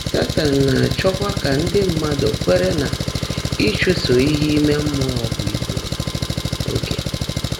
Sétan ná-áchọ́kwá kà ndị́ mmádụ́ kweèré ná ị́chụ́so íhe íme mmụọ́ bụ́ ígbú óge.